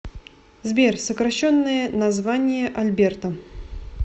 сбер сокращенное название альберта